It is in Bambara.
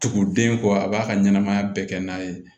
Tuguden kɔ a b'a ka ɲɛnɛmaya bɛɛ kɛ n'a ye